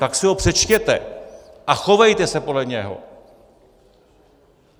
Tak si ho přečtete a chovejte se podle něho!